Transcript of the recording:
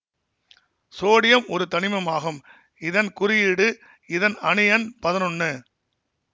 sodium ஒரு தனிமம் ஆகும் இதன் குறியீடு இதன் அணு எண் பதினொன்னு